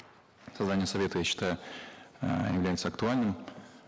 создание совета я считаю э является актуальным